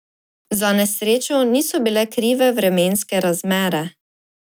Za nesrečo niso bile krive vremenske razmere.